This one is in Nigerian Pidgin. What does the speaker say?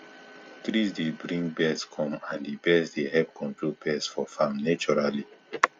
trees dey bring birds come and the birds dey help control pests for farm naturally